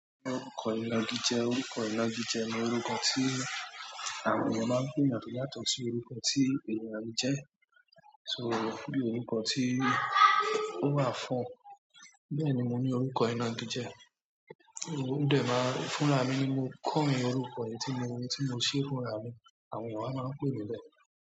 Orúkọ inágijẹ, orúkọ inágijẹ ni orúkọ tí àwọn ènìyàn máa ń pè eeyan to yàtọ̀ si orúkọ tí ènìyàn yí jẹ́. So fún ní orúkọ tí ó máa fún ún. Bẹ́ẹ̀ ni mo ní orúkọ iná jíjẹ, óún dè máa ń fún ra mi ni mo kọrin orúkọ yìí tí mo ṣe fún ra mi, àwọn ènìyàn máa ń pè mí bẹ́ẹ̀.